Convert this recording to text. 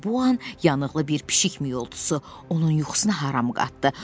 Elə bu an yanıqlı bir pişik miyoltusu onun yuxusuna haram qatdı.